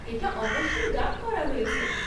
এটা অবশ্যই ডাব করা হয়েছে।